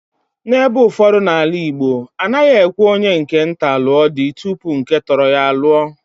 N'ebe ụfọdụ n'ala Igbo, a naghị ekwe onye nke nta lụo di tupu nke Totoro ya aluo.